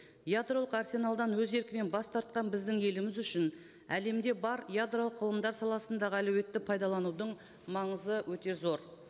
ядролық арсеналдан өз еркімен бас тартқан біздің еліміз үшін әлемде бар ядролық ғылымдар саласындағы әлеуетті пайдаланудың маңызы өте зор